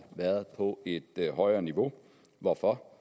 været på et højere niveau hvorfor